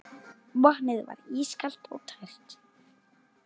Vatnið var ískalt og tært.